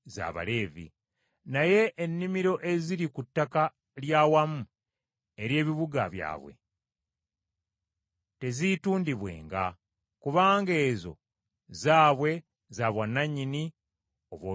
Naye ennimiro eziri ku ttaka lya wamu ery’ebibuga byabwe teziitundibwenga; kubanga ezo zaabwe za bwannannyini obw’olubeerera.